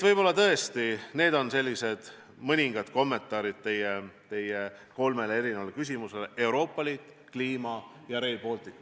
Võib-olla need on mõningad kommentaarid teie kolmele küsimusele: Euroopa Liit, kliima ja Rail Baltic.